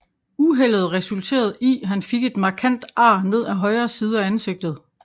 Uheldet resulterede i han fik et markant ar ned af højre side af ansigtet